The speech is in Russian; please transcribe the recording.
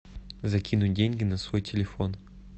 закинуть деньги на свой телефон